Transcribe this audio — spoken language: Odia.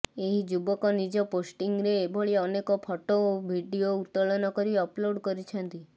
ଏହି ଯୁବକ ନିଜ ପୋଷ୍ଟିଂରେ ଏଭଳି ଅନେକ ଫଟୋ ଓ ଭିଡିଓ ଉତ୍ତୋଳନ କରି ଅପଲୋଡ୍ କରିଛନ୍ତି